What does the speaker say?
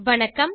வணக்கம்